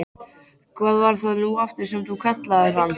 Hvað var það nú aftur sem þú kallaðir hann?